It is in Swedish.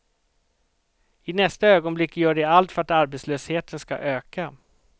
I nästa ögonblick gör de allt för att arbetslösheten ska öka.